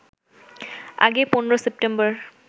আগে ১৫ সেপ্টেম্বর